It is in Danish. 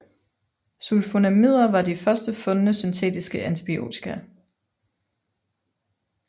Sulfonamider var de først fundne syntetiske antibiotika